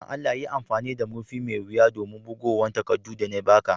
Dan Allah yi amfani da murfi mai wiya a'bugowan takadun de na ba ka.